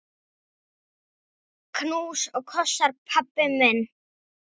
Knús og kossar, pabbi minn.